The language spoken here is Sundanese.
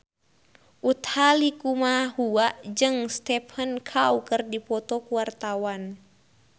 Utha Likumahua jeung Stephen Chow keur dipoto ku wartawan